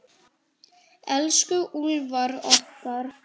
Elsku Úlfar okkar.